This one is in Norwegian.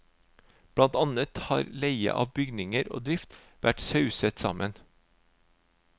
Blant annet har leie av bygninger og drift vært sauset sammen.